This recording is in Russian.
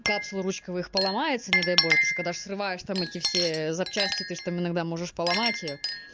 капсулы ручковые их поломается не дай боже потому что когда срываешь там эти все запчасти ты же там иногда можешь поломать её